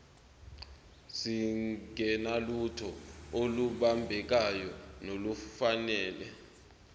singenalutho olubambekayo nolufanele